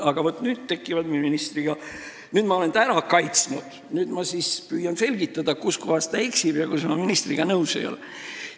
Aga vaat nüüd, kui ma olen ministri ära kaitsnud, ma püüan selgitada, kus kohas ta eksib ja milles ma ministriga nõus ei ole.